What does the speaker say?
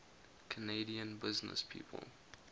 canadian businesspeople